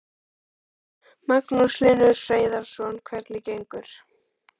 Magnús Hlynur Hreiðarsson: Hvernig gengur?